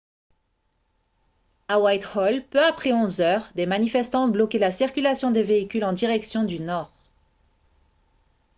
à whitehall peu après 11 h 00 des manifestants ont bloqué la circulation des véhicules en direction du nord